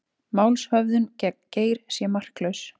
Málshöfðun gegn Geir sé marklaus